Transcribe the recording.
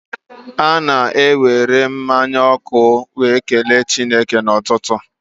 Ana-akwụpụ mmanya ọkụ were kelee Chineke n'ụtụtụ.